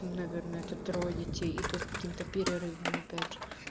наверное это трое детей и то с каким-то перерывом опять же